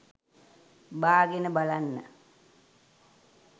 බාගෙන බලන්න.